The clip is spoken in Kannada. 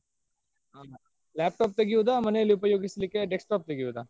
ಹಾ laptop ತೆಗಿಯೋದ ಮನೆ ಅಲ್ಲಿ ಉಪಯೋಗಿಸಲಿಕ್ಕೆ desktop ತೆಗಿಯೋದ.